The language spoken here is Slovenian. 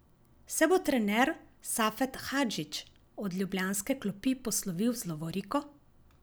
Se bo trener Safet Hadžić od ljubljanske klopi poslovil z lovoriko?